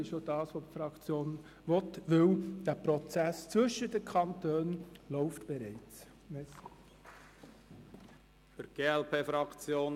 Dies will auch die Fraktion, weil der Prozess zwischen den Kantonen bereits läuft.